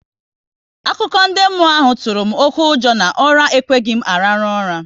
Akụkọ ndị mmụọ ahụ tụrụ m oké ụjọ na ụra ekweghị m araru ura